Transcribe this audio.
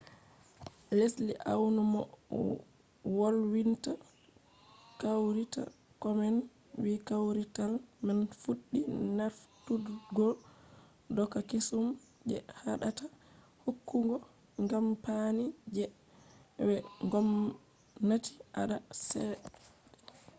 lesli awn mo wolwinta kawrital komen wi kawrital man fuɗɗi nafturgo doka kesum je haɗata hokkugo kampani je w-gomnati anda cede